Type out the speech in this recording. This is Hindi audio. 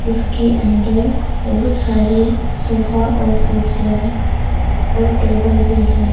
उसके अंदर बहुत सारे सोफा और कुर्सियां है और टेबल भी है।